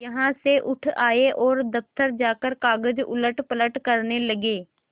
यहाँ से उठ आये और दफ्तर जाकर कागज उलटपलट करने लगे